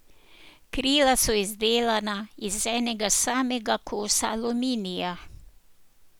Krila so izdelana iz enega samega kosa aluminija.